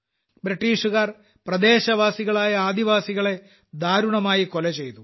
ബ്രിട്ടീഷുകാർ പ്രദേശവാസികളായ ആദിവാസികളെ ദാരുണമായി കൊലചെയ്തു